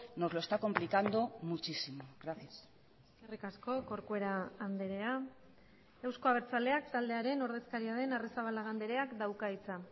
nos lo está complicando muchísimo gracias eskerrik asko corcuera andrea euzko abertzaleak taldearen ordezkaria den arrizabalaga andreak dauka hitza